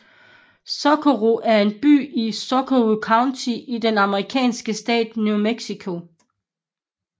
Socorro er en by i Socorro County i den amerikanske stat New Mexico